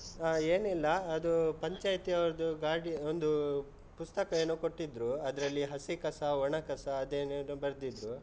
ಆ ಏನ್ ಇಲ್ಲಾ, ಅದೂ ಪಂಚಾಯ್ತಿ ಅವರ್ದು ಗಾಡಿ, ಒಂದೂ ಪುಸ್ತಕ ಏನೋ ಕೊಟ್ಟಿದ್ರು, ಅದ್ರಲ್ಲಿ ಹಸಿ ಕಸ ಒಣ ಕಸ ಅದ್ ಏನ್ ಏನೋ ಬರ್ದಿದ್ರು.